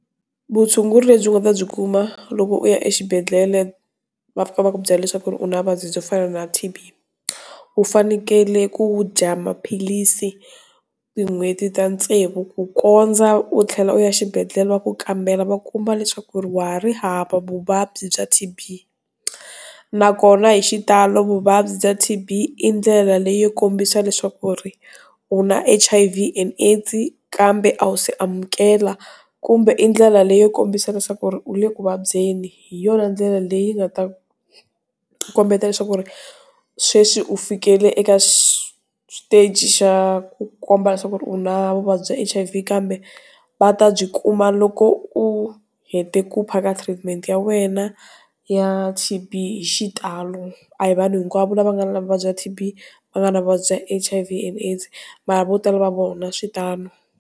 Vutshunguri lebyi nga ta byi kuma loko u ya exibedhlele va fika va ku byela leswaku u na vuvabyi byo fana na T_B u fanekele ku dya maphilisi hi n'hweti ta tsevu ku kondza u tlhela u ya xibedhlele va ku kambela va kuma leswaku ri wa ha ri hava vuvabyi bya T_B nakona hi xitalo vuvabyi bya T_B i ndlela leyi kombisa leswaku ku ri u na H_I_V and A_i_d_s kambe a wu si amukela kumbe i ndlela leyi kombisa leswaku u le ekuvabyeni hi yona ndlela leyi nga ta u kombeta leswaku ri sweswi u fikelele eka swi shiteji xa ku komba leswaku u na vuvabyi bya H_I_V kambe va ta byi kuma loko u hete ku phaka treatment ya wena ya T_B hi xitalo a hi vanhu hinkwavo lava nga na vuvabyi bya T_B va nga na vuvabyi bya H_I_V and A_i_d_s mara vo tala va vona switano.